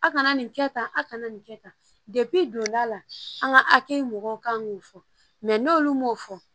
A kana nin kɛ tan a kana nin kɛ tan donna a la an ka hakɛ mɔgɔw kan k'o fɔ n'olu m'o fɔ